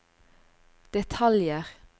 detaljer